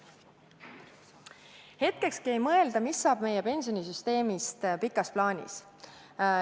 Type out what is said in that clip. Hetkekski ei mõelda, mis saab meie pensionisüsteemist pikas plaanis.